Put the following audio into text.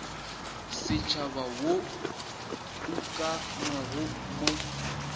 setšhaba wo o ukangwego mo